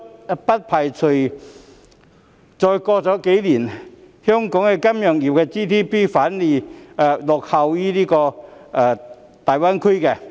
我不排除再過數年，香港金融業的 GDP 反會落後於大灣區。